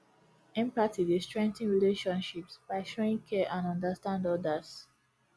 empathy dey strengthen relationships by showing care and understand odas